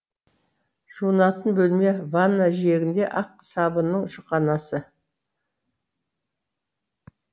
жуынатын бөлме ванна жиегінде ақ сабынның жұқанасы